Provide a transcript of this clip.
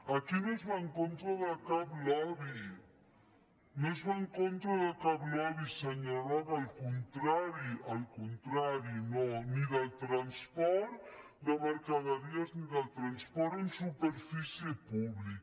aquí no es va en contra de cap lobby no es va en contra de cap lobby senyor roca al contrari al contrari no ni del transport de mercaderies ni del transport en superfície públic